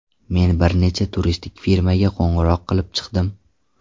Men bir necha turistik firmaga qo‘ng‘iroq qilib chiqdim.